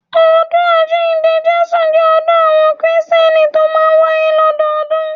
Ọdún Àjíǹde Jésù jẹ́ ọdún àwọn kìrìsìtẹ́nì tó máa ń wáyé lọ́dọọdún